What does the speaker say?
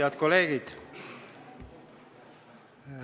Head kolleegid!